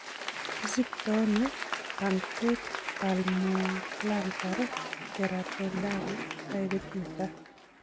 Kisiktoono punctate palmoplantar keratoderma taipit netaa